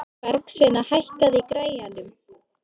Bergsveina, hækkaðu í græjunum.